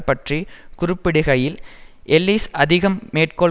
பற்றி குறிப்பிடுகையில் எல்லிசை அதிகம் மேற்கோள்